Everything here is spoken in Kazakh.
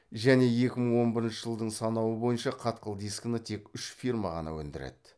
және екі мың он бірінші жылдың санауы бойынша қатқыл дискіні тек үш фирма ғана өндіреді